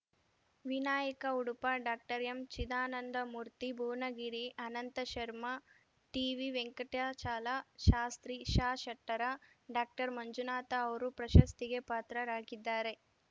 Vinayaka Udupa doctor M Chidanandamurthy Bhuvanagiri Ananta Sharma T V Venkatachala Shastri S Shettar doctor Manjunatha ಅವರು ಪ್ರಶಸ್ತಿಗೆ ಪಾತ್ರರಾಗಿದ್ದಾರೆ